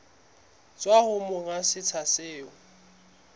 tswa ho monga setsha seo